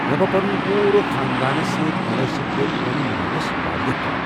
مےٚ گوٚو پوٗرٕ خاندانَس سۭتۍ مُنٲسِب پٲٹھۍ اونم مناونَس وارِیاہ كال ۔